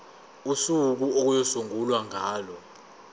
usuku okuyosungulwa ngalo